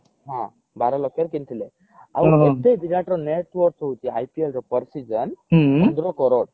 ହଁ ବାର ଲକ୍ଷ ରେ କିଣିଥିଲେ ଆଉ ଏବେ ବିରାଟ ର net worth ହଉଛି IPL ରେ per season ପନ୍ଦର crore